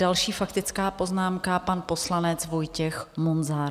Další faktická poznámka, pan poslanec Vojtěch Munzar.